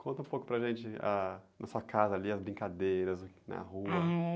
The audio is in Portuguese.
Conta um pouco para a gente, na sua casa, ali, as brincadeiras na rua. Ah, é...